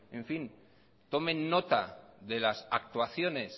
tomen nota de las actuaciones